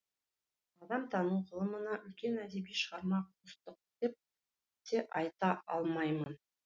адамтану ғылымына үлкен әдеби шығарма қостық деп те айта алмаймын